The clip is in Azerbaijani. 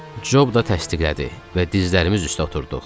Cob da təsdiqlədi və dizlərimiz üstə oturduq.